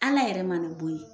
Ala yɛrɛ ma nin bɔ yi.